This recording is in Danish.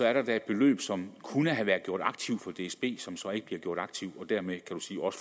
er der da et beløb som kunne have været gjort aktiv for dsb som så ikke bliver gjort aktivt dermed